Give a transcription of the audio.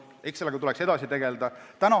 Sellega tuleks edasi tegeleda.